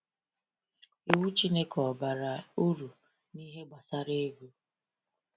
Iwu Chineke ọ bara uru n’ihe gbasara ego?